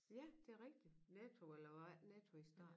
Ja det rigtig Netto eller hvad var det Netto i starten